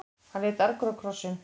Hann leit argur á krossinn.